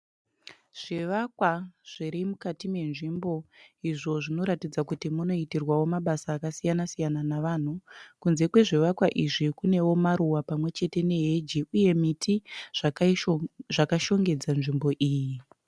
Zvivakwa zviri mukati menzvimbo izvo zvinoratidza kuti munoitirwawo mabasa akasiyana siyana nevanhu. Kunze kwezvivakwa izvi kunewo maruva pamwe chete neheji uye miti zvakashongedza nzvimbo iyi.